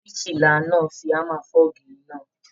Birikiila náà fí hámà fọ̀ ògiri náà.